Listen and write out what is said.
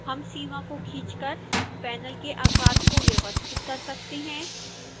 हम सीमा को खींचकर panel के आकार को व्यवस्थित कर सकते हैं